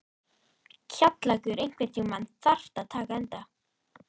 Kjallakur, einhvern tímann þarf allt að taka enda.